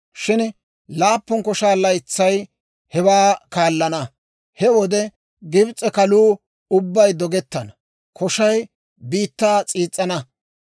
shin laappun koshaa laytsay hewaa kaallana. He wode Gibs'e kaluu ubbay dogettana; koshay biittaa s'iis's'ana.